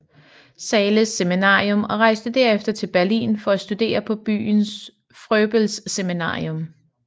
Zahles Seminarium og rejste derefter til Berlin for at studere på byens Fröbelseminarium